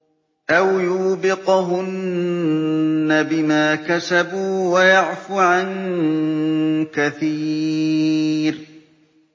أَوْ يُوبِقْهُنَّ بِمَا كَسَبُوا وَيَعْفُ عَن كَثِيرٍ